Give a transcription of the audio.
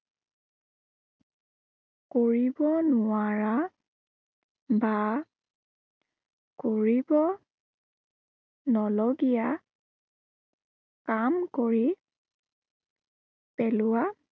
কৰিব নোৱাৰা বা কৰিব নলগীয়া কাম কৰি পেলোৱা